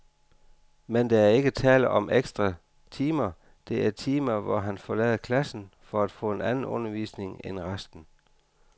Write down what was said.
Men der er ikke tale om ekstra timer, det er timer, hvor han forlader klassen for at få en anden undervisning end resten.